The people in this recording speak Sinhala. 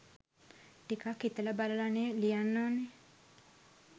ටිකක් හිතල බලලනෙ ලියන්න ඕන.